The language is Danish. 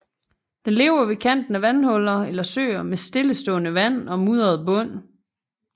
Den lever ved kanten af vandhuller eller søer med stillestående vand og mudret bund